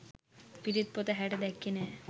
පිරිත් පොත ඇහැට දැක්කේ නෑ.